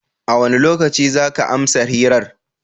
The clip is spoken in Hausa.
A wane lokaci za ka amsa hirar?